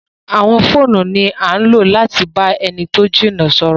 Àwọn fóònú ni àn lo lati ba awọn ẹni ti o jina sọrọ